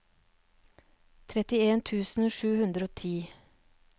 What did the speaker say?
trettien tusen sju hundre og ti